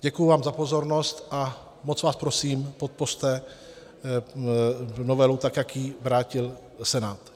Děkuji vám za pozornost a moc vás prosím, podpořte novelu tak, jak ji vrátil Senát.